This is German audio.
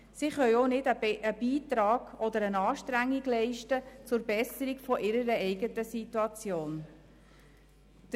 Sie können auch keinen Beitrag oder eine Anstrengung zur Verbesserung ihrer eigenen Situation leisten.